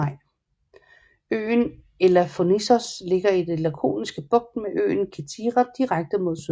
Øen Elafonissos ligger i den Lakoniske Bugt med øen Kithira direkte mod syd